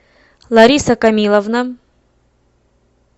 лариса камиловна